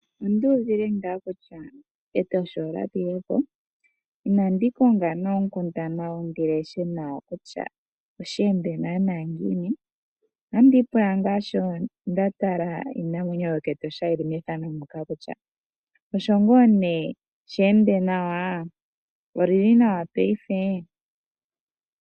Onda uvile ngaa kutya Etosha olya pile po, ihe inandi konga oonkundana ndi leshe kutya oshe ende naanaa ngiini. Otandi ipula ngaa shi nda tala iinamwenyo yokEtosha yi li methano kutya osho ngaa nee she ende nawa? Oli li nawa paife?